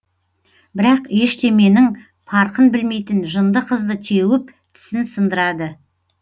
бірақ ештеменің парқын білмейтін жынды қызды теуіп тісін сындырады